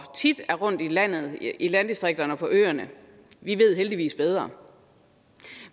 tit er rundt i landet i landdistrikterne og på øerne ved heldigvis bedre